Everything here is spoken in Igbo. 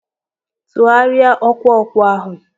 Tụgharịa ọkụ ọkụ ahụ!